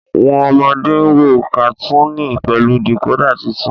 wón ọmọde ń wò katuni pẹlú decoder títún.